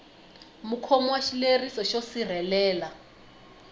mukhomi wa xileriso xo sirhelela